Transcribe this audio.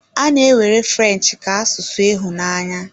A na-ewere French ka asụsụ ịhụnanya.